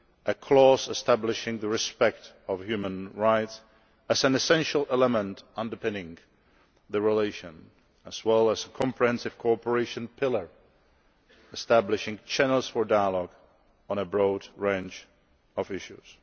a clause establishing respect for human rights as an essential element underpinning relations, as well as a comprehensive cooperation pillar establishing channels for dialogue on a broad range of issues.